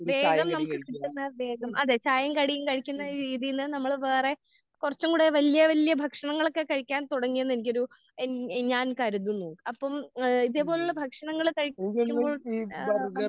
വേഗം നമുക്ക് കിട്ടുന്ന വേഗം അതെ ചായേം കടീം കഴിക്കുന്ന ഒരു രീതിയിൽ നമ്മള് വേറെ കുറച്ചും കൂടെ വല്യേ വല്യേ ഭക്ഷണങ്ങൾ ഒക്കെ കഴിക്കാൻ തുടങ്ങി എന്ന് എനിക്കൊരു ഏഹ് എന്റെ ഞാൻ കരുതുന്നു. അപ്പം ഏഹ് ഇതേ പോലുള്ള ഭക്ഷണങ്ങൾ കഴിക്കുമ്പോൾ ഏഹ്‌